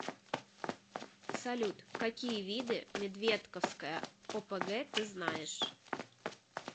салют какие виды медведковская опг ты знаешь